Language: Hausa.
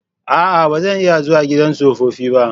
A'a! Ba zan iya zuwa gidan tsofaffi ba.